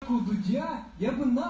откуда я я была